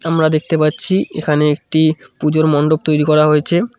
আমরা দেখতে পাচ্ছি এখানে একটি পুজোর মন্ডপ তৈরি করা হয়েছে।